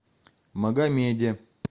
магомеде